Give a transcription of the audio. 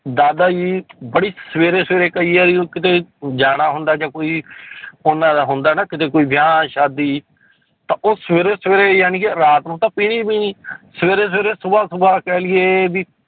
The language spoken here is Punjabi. ਦਾਦਾ ਜੀ ਬੜੀ ਸਵੇਰੇ ਸਵੇਰੇ ਕਈ ਵਾਰੀ ਉਹ ਕਿਤੇ ਜਾਣਾ ਹੁੰਦਾ ਜਾਂ ਕੋਈ ਉਹਨਾਂ ਦਾ ਹੁੰਦਾ ਨਾ ਕਿਤੇ ਕੋਈ ਵਿਆਹ ਸ਼ਾਦੀ ਤਾਂ ਉਹ ਸਵੇਰੇ ਸਵੇਰੇ ਜਾਣੀ ਕਿ ਰਾਤ ਨੂੰ ਤਾਂ ਪੀਣੀ ਪੀਣੀ ਸਵੇਰੇ ਸਵੇਰੇ ਸੁਬ੍ਹਾ ਸੁਬ੍ਹਾ ਕਹਿ ਲਈਏ ਵੀ